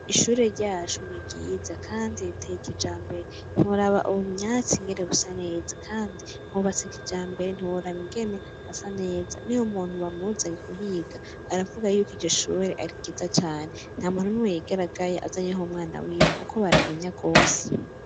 Ishure ryacu ni ryiza, kandi reteye kija mbere nturaba ubumyatsi ingere busa neza, kandi nubatsekija mbere ntiuraba ingene ha sa neza ni wo muntu bamuzanyi kuhiga aravuga yuko ijeshuwere ari ryiza cane nta muntu ni weyigaragaye azanyeho mwana wiwe, kuko baramenya rwose.